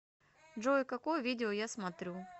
джой какое видео я смотрю